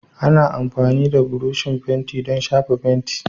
Ana amfani da burushin fenti don shafa fenti